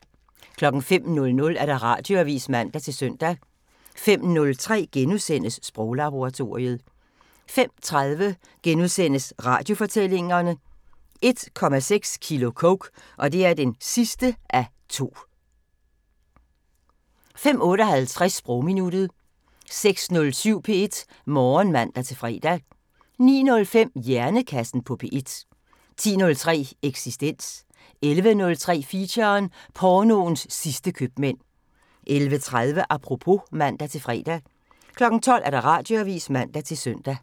05:00: Radioavisen (man-søn) 05:03: Sproglaboratoriet * 05:30: Radiofortællinger: 1,6 kilo coke (2:2)* 05:58: Sprogminuttet 06:07: P1 Morgen (man-fre) 09:05: Hjernekassen på P1 10:03: Eksistens 11:03: Feature: Pornoens sidste købmænd 11:30: Apropos (man-fre) 12:00: Radioavisen (man-søn)